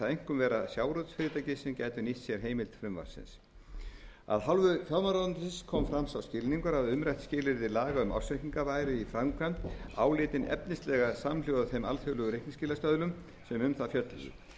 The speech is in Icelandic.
einkum vera sjávarútvegsfyrirtæki sem gætu nýtt sér heimild frumvarpsins af hálfu fjármálaráðuneytis kom fram sá skilningur að umrætt skilyrði laga um ársreikninga væri í framkvæmd álitið efnislega samhljóða þeim alþjóðlegu reikningsskilastöðlum sem um það fjölluðu